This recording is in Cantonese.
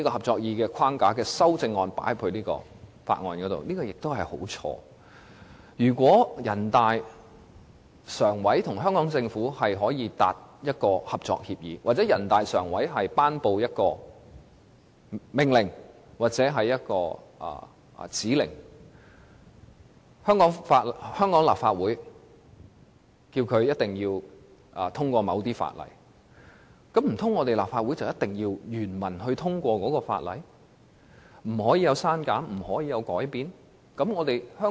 這做法實在大錯特錯，如果人大常委會與香港政府達成合作協議，或人大常委會頒布命令或指令香港立法會通過某些法例，難道立法會就必須原文通過這些法例，不能作出刪減或修改嗎？